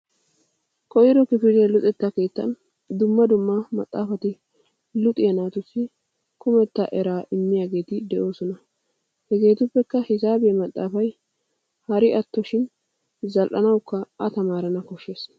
Koyro kifiliya luxetta keettan dumm dumma maxaafati luxiya naatussi kumetta eraas immiyaageeti de'oosona hegeetuppekka hisaabiya maxxaafay haro atto zal'anawukka a tamaarana koshshes.